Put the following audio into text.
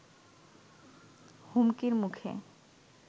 হুমকির মুখে